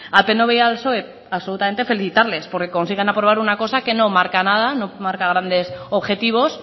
al pnv y al psoe absolutamente felicitarles porque consiguen aprobar una cosa que no marca nada no marca grandes objetivos